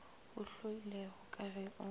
o hloilego ka ge o